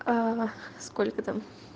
сколько там